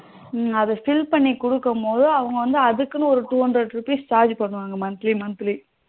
இந்த fill பண்ணி கொடுக்கும் போது அவங்க அதுக்குன்னு ஒரு two hundred rupees charge பண்ணுவாங்க monthly monthly